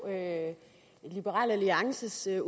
at sige